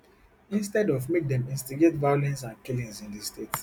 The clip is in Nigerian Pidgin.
instead of make dem instigate violence and killings in di state